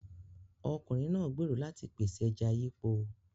Ọkùnrin náà gbèrò láti pèsè ẹja yípo.